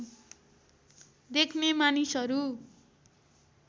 देख्ने मानिसहरू